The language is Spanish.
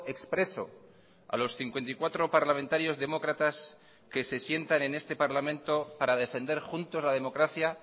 expreso a los cincuenta y cuatro parlamentarios demócratas que se sientan en este parlamento para defender juntos la democracia